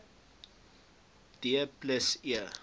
d plus e